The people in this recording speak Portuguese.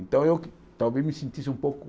Então eu talvez me sentisse um pouco...